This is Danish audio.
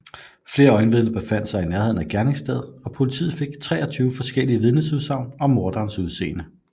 Flere øjenvidner befandt sig i nærheden af gerningsstedet og politiet fik 23 forskellige vidnesudsagn om morderens udseende